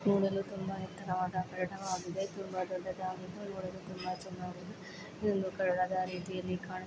ನೋಡಲು ತುಂಬಾ ಎತ್ತರವಾದ ಕಟ್ಟಡವಾಗಿದೆ. ತುಂಬಾ ದೊಡ್ಡದಾದ ನೋಡಲು ತುಂಬಾ ಚೆನ್ನಾಗಿ ಇದೊಂದು ಕಟ್ಟಡ ರೀತಿಯಲ್ಲಿ ಕಾಣಿಸು--